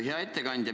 Hea ettekandja!